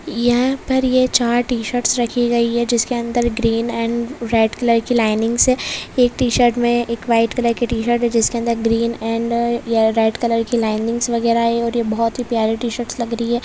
यह पर ये चार टी-शर्ट्स रखी गयी है जिसके अंदर ग्रीन अँड रेड कलर की लाइनिंग्स है इस ट-शर्ट्स मे एक व्हाइट कलर की ट-शर्ट्स है जिसके अंदर ग्रीन अँड रेड कलर के लाइनिंग्स वैगेरा है और ये बहुत ही प्यारे टी-शर्ट्स लग रही है।